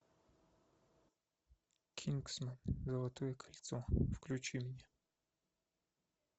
кингсмен золотое кольцо включи мне